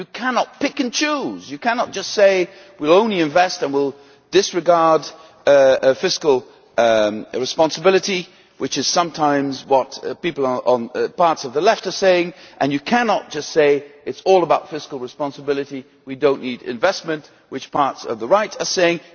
You cannot pick and choose. You cannot just say that you will only invest and will disregard fiscal responsibility which is sometimes what people on parts of the left are saying and you cannot just say that it is all about fiscal responsibility and we do not need investment which parts of the right are saying.